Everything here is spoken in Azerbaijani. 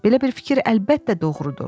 Belə bir fikir əlbəttə doğrudur.